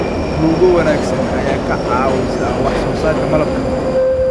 Rugo wanaagsan ayaa ka caawisa wax soo saarka malabka.